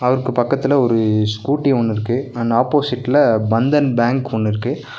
அவருக்கு பக்கத்துல ஒரு ஸ்கூட்டி ஒன்னு இருக்கு அண் ஆப்போசிட்ல பந்தன் பேங்க் ஒன்னு இருக்கு.